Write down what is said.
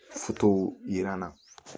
yiran na